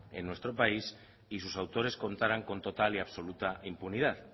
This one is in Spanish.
en nuestro país y sus autores contaran con total y absoluta impunidad